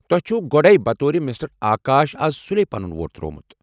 تۄہہ چھوٕ گۄڈٕے بطورِ مِسٹر آكاش از سُلی پنُن ووٹ ترٛوومُت۔